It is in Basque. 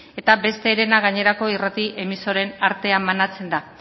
eta beste herena gainerako irrati emisoren artean banatzen da